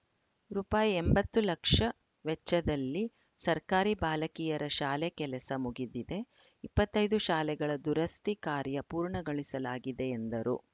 ರುಪಾಯಿ ಎಂಬತ್ತು ಲಕ್ಷ ವೆಚ್ಚದಲ್ಲಿ ಸರ್ಕಾರಿ ಬಾಲಕಿಯರ ಶಾಲೆ ಕೆಲಸ ಮುಗಿದಿದೆ ಇಪ್ಪತ್ತ್ ಐದು ಶಾಲೆಗಳ ದುರಸ್ತಿ ಕಾರ್ಯ ಪೂರ್ಣಗೊಳಿಸಲಾಗಿದೆ ಎಂದರು